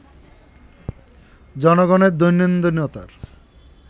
জনগণের দৈনন্দিনতার